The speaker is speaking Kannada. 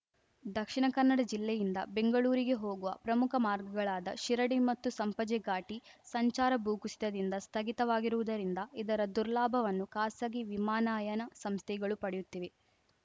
ದಕ್ಷಿಣ ಕನ್ನಡ ಜಿಲ್ಲೆಯಿಂದ ಬೆಂಗಳೂರಿಗೆ ಹೋಗುವ ಪ್ರಮುಖ ಮಾರ್ಗಗಳಾದ ಶಿರಡಿ ಮತ್ತು ಸಂಪಾಜೆ ಘಾಟಿ ಸಂಚಾರ ಭೂಕುಸಿತದಿಂದ ಸ್ಥಗಿತವಾಗಿರುವುದರಿಂದ ಇದರ ದುರ್ಲಾಭವನ್ನು ಖಾಸಗಿ ವಿಮಾನಯಾನ ಸಂಸ್ಥೆಗಳು ಪಡೆಯುತ್ತಿವೆ